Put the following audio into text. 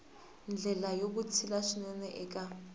ndlela ya vutshila swinene eka